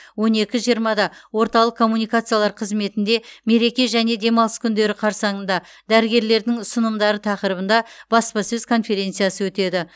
он екі жиырмада орталық коммуникациялар қызметінде мереке және демалыс күндері қарсаңында дәрігерлердің ұсынымдары тақырыбында баспасөз конференциясы өтеді